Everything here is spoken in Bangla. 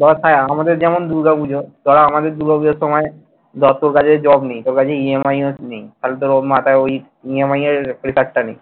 দেখ ভাই আমাদের যেমন দুর্গা পুজো ওরা আমাদের দুর্গা পুজোর সময় যত জারি job নেই সবারই EMI নেই ফালতু মাথায় ঐ EMI এরpressure টা নেই।